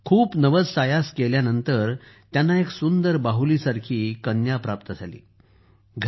खूप नवससायास केल्यावर त्यांना एक सुंदर बाहुलीसारखी कन्येची प्राप्ती झाली होती